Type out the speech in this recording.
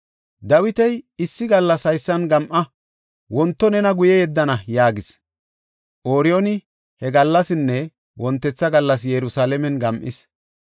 Dawiti, “Issi gallas haysan gam7a; wonto nena guye yeddana” yaagis. Ooriyooni he gallasinne wontetha gallas Yerusalaamen gam7is.